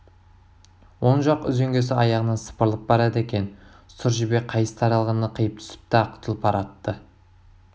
оң жақ үзеңгісі аяғынан сыпырылып барады екен сұр жебе қайыс таралғыны қиып түсіпті ақ тұлпар атты